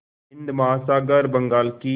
हिंद महासागर बंगाल की